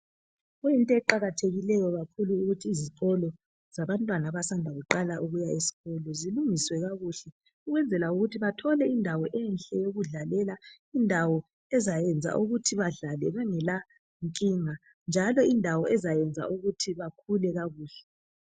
kuyinto eqakathekileyo kakhulu ukuthi izikolo yabantwana abasanda kuqala ukuya esikolo zilungiswe kakuhle ukwenzela ukuthi bathole indawo enhle eyokudlalela indawo ezayenza ukuthi badlale bengela nkinga njalo indawo ezayenza ukuthi bakhule kakuhle